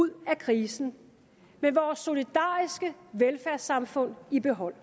ud af krisen med vores solidariske velfærdssamfund i behold